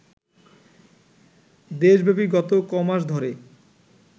দেশব্যাপী গত কমাস ধরে